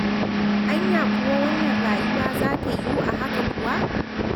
Anya kuwa wannan rayuwa za ta yiwu a haka kuwa?